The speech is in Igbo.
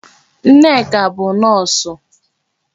Nneka bụ Nọọsụ.